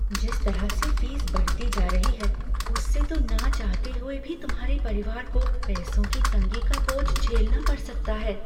जिस तरह से फीस बढ़ती जा रही है उससे तो ना चाहते हुए भी तुम्हारे परिवार को पैसों की तंगी का बोझ झेलना पड़ सकता है।